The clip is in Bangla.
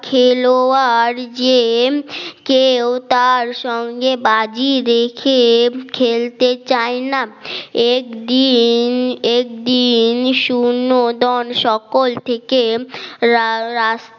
খেলোয়াড় জেএম কেউ তার সঙ্গে বাজি রেখে খেলতে চায় না একদিন একদিন সুন্নজন সকল থেকে রা রাষ